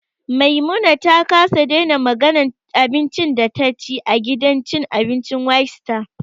Maimuna ta kasa daina maganan abincin da taci a gidan cin abincin whitestar